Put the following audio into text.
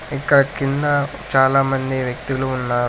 ఇక్కడ కింద చాలామంది వ్యక్తులు ఉన్నా--